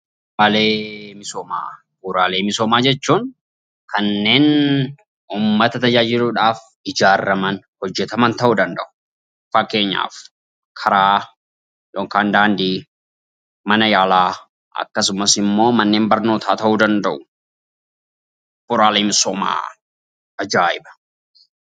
Bu'uraalee misoomaa Bu'uraalee misoomaa jechuun kanneen uummata tajaajiluu dhaaf ijaaraman, hojjetaman ta'uu danda'u. Fakkeenyaaf Karaa yookaan Daandii, Mana yaalaa akkasumas Manneen barnootaa ta'uu danda'u. Bu'uraalee misoomaa. ajaa'iba!